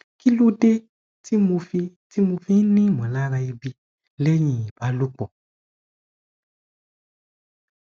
kí ló dé tí mo fi tí mo fi ń ní ìmọlára ebi lẹyìn ìbálòpọ